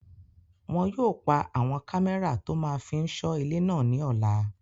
Wọn yóò pa àwọn kámẹ́rà tó máa fí n sọ ilé náà ní ọ̀la